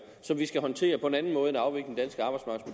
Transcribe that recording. som vi skal håndtere på en anden måde